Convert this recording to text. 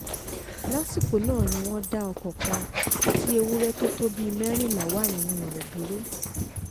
lásìkò náà ni wọ́n dá ọkọ̀ kan tí ewúrẹ́ tó tó bíi mẹ́rìnlá wà nínú rẹ̀ dúró